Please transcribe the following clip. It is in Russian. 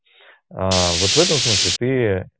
аа вот в этом смысле ты